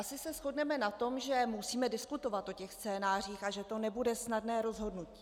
Asi se shodneme na tom, že musíme diskutovat o těch scénářích a že to nebude snadné rozhodnutí.